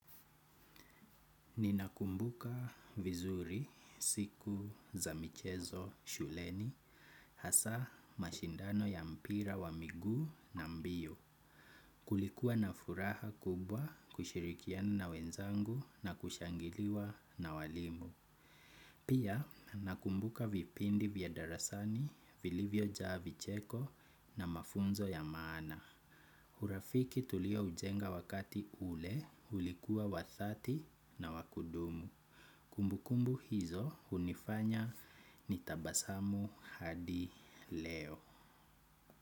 Ninakumbuka vizuri, siku, za michezo, shuleni, hasa mashindano ya mpira wa miguu na mbio. Kulikuwa na furaha kubwa kushirikiana na wenzangu na kushangiliwa na walimu. Pia nakumbuka vipindi vya darasani, vilivyojaa vicheko na mafunzo ya maana. Urafiki tulioujenga wakati ule, ulikuwa wa dhati na wa kudumu. Kumbukumbu hizo hunifanya nitabasamu hadi leo.